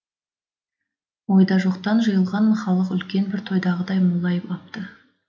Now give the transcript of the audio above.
ойдажоқтан жиылған халық үлкен бір тойдағыдай молайып апты